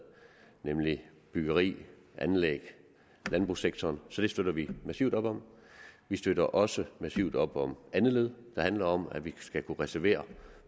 nemlig byggeri anlæg og landbrugssektoren så det støtter vi massivt op om vi støtter også massivt op om andet led der handler om at vi skal kunne reservere